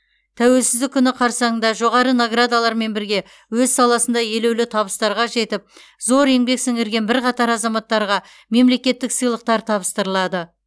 тәуелсіздік күні қарсаңында жоғары наградалармен бірге өз саласында елеулі табыстарға жетіп зор еңбек сіңірген бірқатар азаматтарға мемлекеттік сыйлықтар табыстырылады